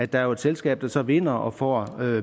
der er et selskab der så vinder og får